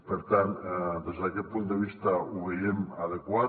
per tant des d’aquest punt de vista ho veiem adequat